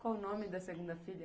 Qual o nome da segunda filha?